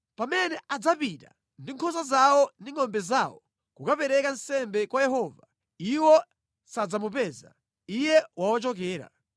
Pamene adzapita ndi nkhosa zawo ndi ngʼombe zawo kukapereka nsembe kwa Yehova, iwo sadzamupeza; Iye wawachokera.